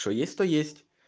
что есть то есть